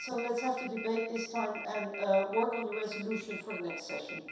So let's have the debate this time and work on the resolution for the next session.